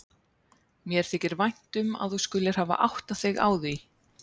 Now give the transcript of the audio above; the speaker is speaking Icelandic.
Mér þykir vænt um að þú skulir hafir áttað þig á því.